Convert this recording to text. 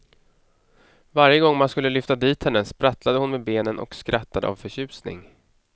Varje gång man skulle lyfta dit henne, sprattlade hon med benen och skrattade av förtjusning.